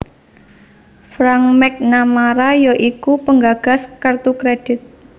Frank McNamara ya iku penggagas kertu kredhit